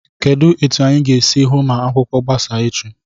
Kedụ etu anyị ga-esi hụ ma akwụkwọ gbasaa echi?